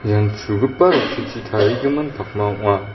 ian chugipa rong·techi tarigimin pakma ong·a.